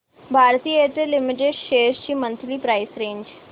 Bharti Airtel limited shares ची monthly price range